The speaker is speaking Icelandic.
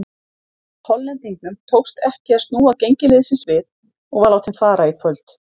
Hollendingnum tókst ekki að snúa gengi liðsins við og var látinn fara í kvöld.